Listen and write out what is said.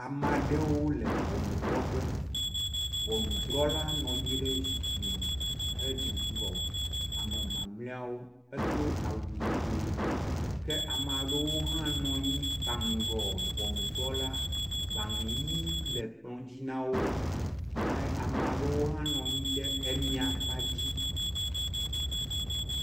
Ame aɖewo le ŋɔnudrɔƒe. Ŋɔnudrɔla nɔ anyi ɖe zikpui me hedze ŋgɔ ame mamleawo edo awu yibɔe ke ame aɖewo hã nɔ anyi kpaŋgɔ ŋɔnudrɔla gbale ʋi le kplɔ dzi na wo. A ame aɖewo hã nɔ anyi ɖe emia kpa dzi.